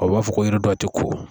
U b'a fɔ ko yiri dɔw ti ko